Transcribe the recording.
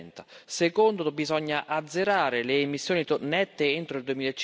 2030 secondo, bisogna azzerare le emissioni nette entro il